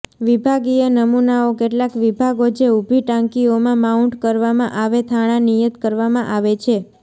વિભાગીય નમૂનાઓ કેટલાક વિભાગો જે ઊભી ટાંકીઓમાં માઉન્ટ કરવામાં આવે થાણા નિયત કરવામાં આવે છે